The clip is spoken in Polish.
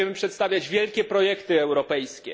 Będziemy przedstawiać wielkie projekty europejskie.